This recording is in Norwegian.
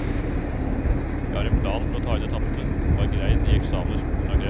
Jeg har en plan for å ta inn det tapte, og har greid de eksamener skolen har krevd.